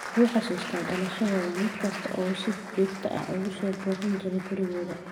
Wuxuu xusuustaa dhalashadooda mid kasta oo uu si joogto ah ugu soo booqan jiray gurigooda.